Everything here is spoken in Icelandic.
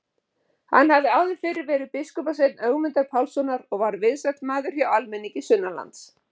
Hann hafði áður fyrr verið biskupssveinn Ögmundar Pálssonar og var vinsæll maður hjá almenningi sunnanlands.